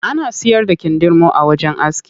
Ana siyar da kindirmo a wajen aski.